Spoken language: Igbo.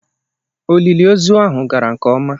Olili ozu ahu gara nke ọma.